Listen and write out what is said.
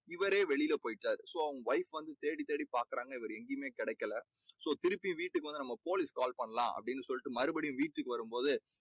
இவரே வெளியில போயிட்டாரு. so wife வந்து தேடி தேடி பார்க்கிறாங்க. இவர் எங்கேயுமே கிடைக்கல. so திருப்பி வீட்டுக்கு வந்து நம்ம police க்கு கால் பண்ணலாம் அப்படின்னு சொல்லிட்டு மறுபடியும் வீட்டுக்கு வரும்போது